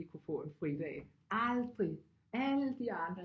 Vi kunne få en fridag aldrig alle de andre